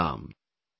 Abdul Kalam